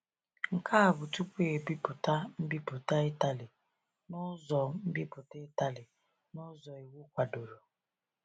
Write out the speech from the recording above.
Nke a bụ tupu e bipụta mbipụta Itali n’ụzọ mbipụta Itali n’ụzọ iwu kwadoro.